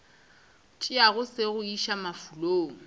tšeago se go iša mafulong